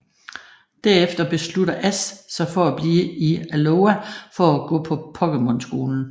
Derefter beslutter Ash sig for at blive i Alola for at gå på Pokémon Skolen